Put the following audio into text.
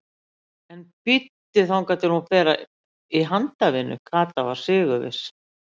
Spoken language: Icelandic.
En bíddu þangað til hún fer í handavinnu. Kata var sigurviss.